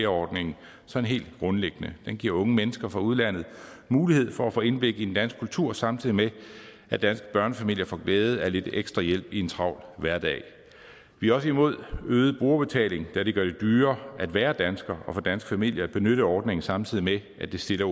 ordningen sådan helt grundlæggende den giver unge mennesker fra udlandet mulighed for at få indblik i den danske kultur samtidig med at danske børnefamilier får glæde af lidt ekstra hjælp i en travl hverdag vi er også imod øget brugerbetaling da det gør det dyrere at være dansker og for danske familier at benytte ordningen samtidig med at det stiller